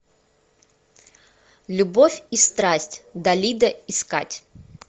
любовь и страсть далида искать